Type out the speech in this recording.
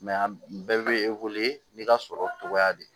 bɛɛ bɛ n'i ka sɔrɔ togoya de ye